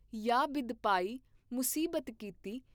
ਯਾ ਬਿਧਿਪਾਇ ਮੁਸੀਬਤ ਕੀਤੀ।